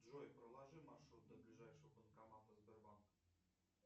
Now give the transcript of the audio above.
джой проложи маршрут до ближайшего банкомата сбербанка